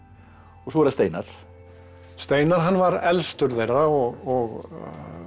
svo er það Steinar steinar hann var elstur þeirra og